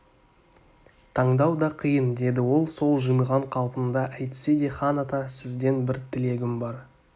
таңдау да қиын деді ол сол жымиған қалпында әйтсе де хан ата сізден бір тілегім бар